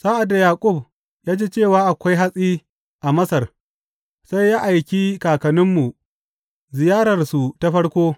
Sa’ad da Yaƙub ya ji cewa akwai hatsi a Masar, sai ya aiki kakanninmu ziyararsu ta farko.